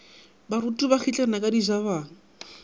baruti ba kgitlana ka dijabana